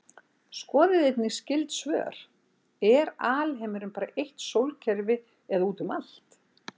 Skoðið einnig skyld svör: Er alheimurinn bara eitt sólkerfi eða út um allt?